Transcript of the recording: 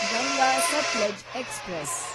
Ganga Sutlej express